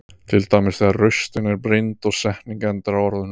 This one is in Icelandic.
Til dæmis þegar raustin er brýnd og setning endar á orðunum.